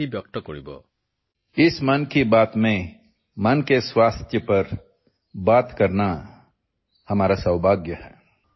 মন কী বাতৰ এই খণ্ডটোত মানসিক স্বাস্থ্যৰ বিষয়ে কোৱাটো মোৰ বাবে সৌভাগ্যৰ কথা